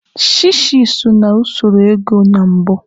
Shishi so na usoro ego na mbụ.